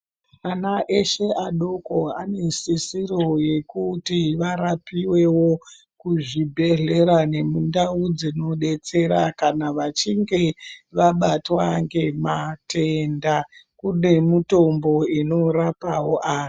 Ana eshe adoko aneshisiro yekuti varapivevo kuzvibhedhlera nemundau dzinobetsera. Kana vachinge vabatwa ngematenda kune mutombo unorapavo antu.